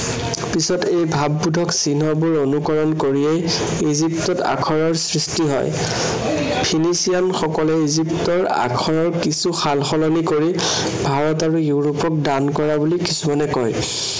পিছত এই ভাৱবোধক চিহ্নবোৰ অনুকৰণ কৰিয়েই ইজিপ্তত আখৰৰ সৃষ্টি হয়। ফিলিপচিয়ান সকলে ইজিপ্তৰ আখৰৰ কিছু সালসলনি কৰি ভাৰত আৰু ইৰোপক দান কৰা বুলি কিছুমানে কয়।